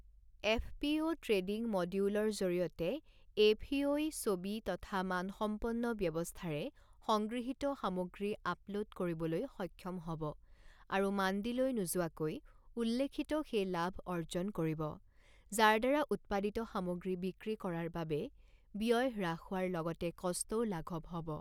FPO trading মডিউলৰ জৰিয়তে FPO ই ছবি তথা মানসম্পন্ন ব্যৱস্থাৰে সংগৃহীত সামগ্ৰী আপলোড কৰিবলৈ সক্ষম হ ব আৰু মাণ্ডিলৈ নোযোৱাকৈ উল্লেখিত সেই লাভ অৰ্জন কৰিব, যাৰদ্বাৰা উৎপাদিত সামগ্ৰী বিক্ৰী কৰাৰ বাবে ব্যয় হ্ৰাস হোৱাৰ লগতে কষ্টও লাঘৱ হ ব।